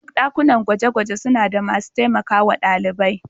Duk ɗakunan gwaje-gwaje suna da masu taimakawa ɗalibai.